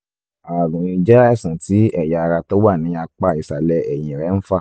ààrùn yìí jẹ́ àìsàn tí ẹ̀yà ara tó wà ní apá ìsàlẹ̀ ẹ̀yìn rẹ ń fà